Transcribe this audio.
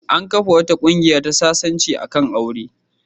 An kafa wata ƙungiya ta sasanci a kan aure.